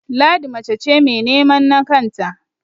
Ladi mace ce mai nemen na kanta